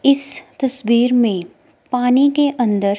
इस तस्वीर में पानी के अंदर--